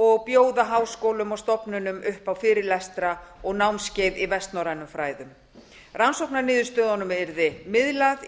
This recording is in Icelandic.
og bjóða háskólum og stofnunum upp á fyrirlestra og námskeið í vestnorrænum fræðum rannsóknarniðurstöðunum yrði miðlað í